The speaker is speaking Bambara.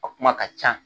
A kuma ka ca